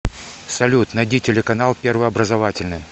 салют найди телеканал первый образовательный